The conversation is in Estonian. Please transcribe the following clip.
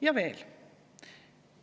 Ja veel.